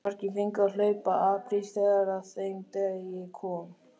Margir fengu að hlaupa apríl þegar að þeim degi kom.